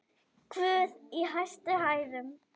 Guð í hæstum hæðum!